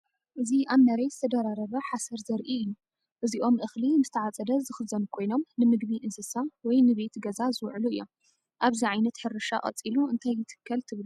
እዚ ኣብ መሬት ዝተደራረበ ሓሰር ዘርኢ እዩ። እዚኦም እኽሊ ምስተዓጽደ ዝኽዘኑ ኮይኖም ንምግቢ እንስሳ ወይ ንቤት ገዛ ዝውዕሉ እዮም። ኣብዚ ዓይነት ሕርሻ ቀጺሉ እንታይ ይትከል ትብሉ?